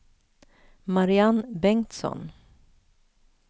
Mariann Bengtsson